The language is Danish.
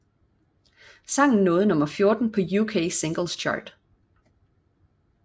Sangen nåede nummer 14 på UK Singles Chart